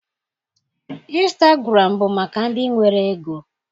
Instagụram bụ maka ndị nwere ego.